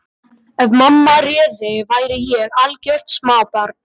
Ef mamma réði væri ég algjört smábarn.